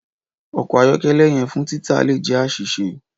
Ọkọ ayọkẹlẹ yẹn fun tita le jẹ aṣiṣe.